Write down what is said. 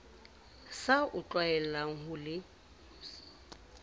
sa o tlwaelang ho se